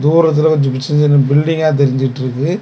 போறதுல கொஞ்சோ சின்ன சின்ன பில்டிங்கா தெரிஞ்சிடிருக்கு.